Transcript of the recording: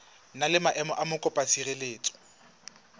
na le maemo a mokopatshireletso